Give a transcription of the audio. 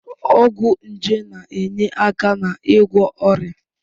Ọgwụ nje na-enye aka n'ịgwọ ọrịa.